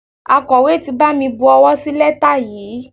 Akọ̀wé ti bami bu owó sí lẹ́tà yìí.